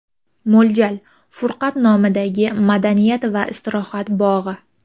Mo‘ljal: Furqat nomidagi madaniyat va istirohat bog‘i.